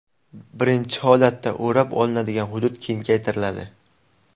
Birinchi holatda o‘rab olinadigan hudud kengaytiriladi.